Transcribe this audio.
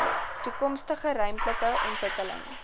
toekomstige ruimtelike ontwikkeling